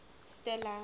stella